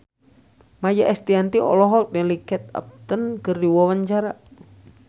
Maia Estianty olohok ningali Kate Upton keur diwawancara